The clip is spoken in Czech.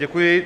Děkuji.